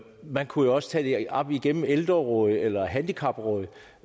man kunne jo også tage det op gennem ældrerådet eller handicaprådet